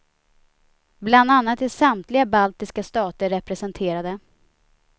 Bland annat är samtliga baltiska stater representerade.